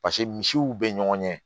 Paseke misiw bɛ ɲɔgɔn ɲɛ